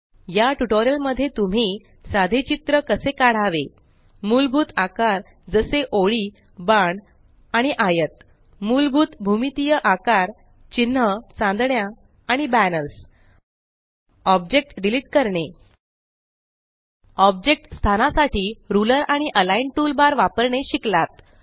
या ट्यूटोरियल मध्ये तुम्ही साधे चित्र कसे काढावे मुलभूत आकार जसे ओळी बाण आणि आयत मुलभूत भूमितीय आकार चिन्ह चांदण्या आणि बैनर्स ऑब्जेक्ट डिलीट करणे ऑब्जेक्ट स्थानासाठी रुलर आणि अलिग्न टूलबार वापरणे शिकलात